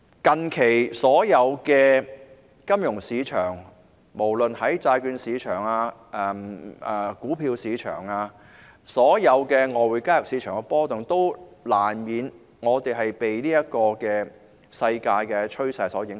當然，所有金融市場，無論是債券市場、股票市場或外匯市場近期均出現波動，我們難免被世界趨勢所影響。